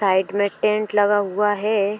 Side में tent लगा हुआ है।